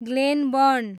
Glenburn